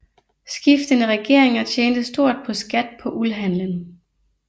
Skiftende regeringer tjente stort på skat på uldhandlen